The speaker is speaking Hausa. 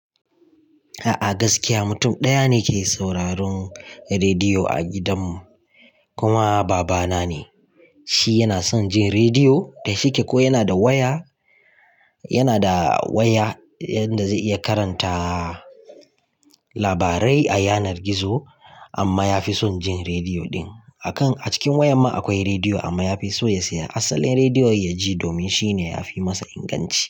A'a gaskiya, mutum ɗaya ne ke sauraron rediyo a gidan mu kuma babana ne. Shi yana son jin rediyo da shike ko yana da waya, yana da waya inda zai iya karanta labarai a yanar gizo amma yafi son jin rediyo din. A kan a cikin wayar ma akwai rediyo amma yafi so ya saya asalin rediyo ya ji domin shine yafi masa inganci.